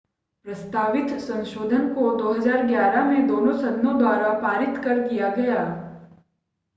प्रस्तावित संशोधन को 2011 में दोनों सदनों द्वारा पारित कर दिया गया